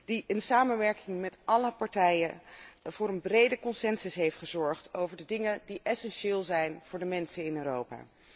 die in samenwerking met alle partijen voor een brede consensus heeft gezorgd over de dingen die essentieel zijn voor de mensen in Europa.